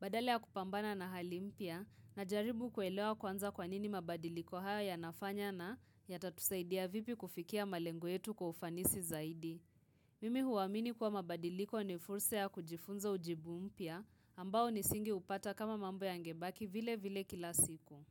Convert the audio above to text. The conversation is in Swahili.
Badala ya kupambana na hali mpya najaribu kuelewa kwanza kwanini mabadiliko haya yanafanya na yatatusaidia vipi kufikia malengo yetu kwa ufanisi zaidi. Mimi huamini kuwa mabadiliko ni fursa ya kujifunza ujibu mpya ambao nisingeupata kama mambo yangebaki vile vile kila siku.